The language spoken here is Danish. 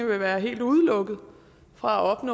vil være helt udelukket fra at